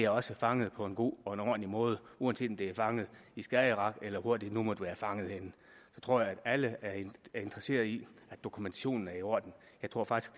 også er fanget på en god og ordentlig måde uanset om det er fanget i skagerrak eller hvor det nu måtte være fanget henne jeg tror at alle er interesseret i at dokumentationen er i orden jeg tror faktisk